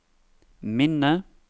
minne